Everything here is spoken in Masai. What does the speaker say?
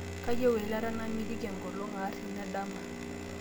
kayieu eilata namitiki enkolong aar tena dama